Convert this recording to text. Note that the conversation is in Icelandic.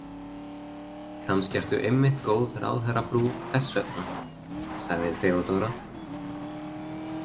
Kannski ertu einmitt góð ráðherrafrú þess vegna, sagði Theodóra.